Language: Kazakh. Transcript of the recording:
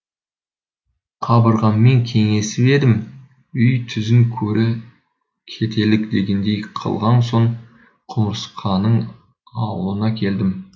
қабырғаммен кеңесіп едім үй түзін көре кетелік дегендей қылған соң құмырсқаның аулына келдім